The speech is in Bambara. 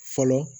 Fɔlɔ